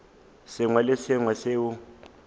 sengwe le se sengwe seo